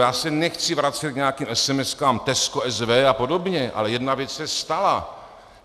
Já se nechci vracet k nějakým SMS Tesco SV a podobně, ale jedna věc se stala.